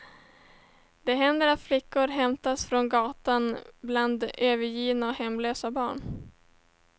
Det händer att flickor hämtas från gatan bland övergivna och hemlösa barn.